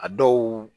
A dɔw